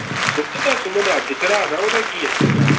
ਸੁਮਨ ਦਾ ਸੁਮਨ ਦਾ ਅੱਜ ਚੜਾ ਦਾ ਓਹਦਾ ਕੀ ਆ।